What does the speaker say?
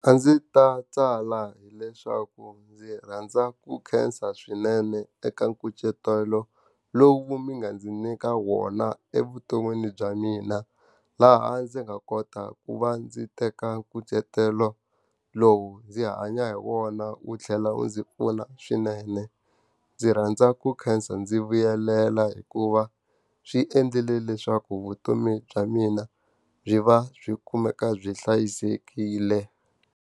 A ndzi ta tsala hileswaku ndzi rhandza ku khensa swinene eka nkucetelo lowu mi nga ndzi nyika wona evuton'wini bya mina. Laha ndzi nga kota ku va ndzi teka nkucetelo lowu ndzi kha hanya hi wona wu tlhela wu ndzi pfuna swinene. Ndzi rhandza ku khensa ndzi vuyelela hikuva swi endlile leswaku vutomi bya mina byi va byi kumeka byi hlayisekile.